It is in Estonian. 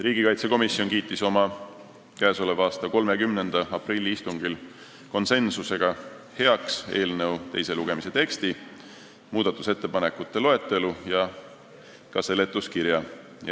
Riigikaitsekomisjon kiitis oma k.a 30. aprilli istungil heaks eelnõu teise lugemise teksti, muudatusettepanekute loetelu ja ka seletuskirja.